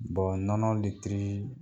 nɔnɔ litiri